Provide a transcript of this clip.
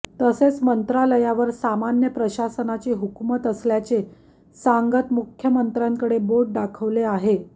तसेच मंत्र्यालयावर सामान्य प्रशासनाची हुकूमत असल्याचे सांगत मुख्यमंत्र्यांकडे बोट दाखवले आहे